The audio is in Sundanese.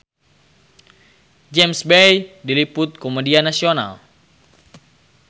James Bay diliput ku media nasional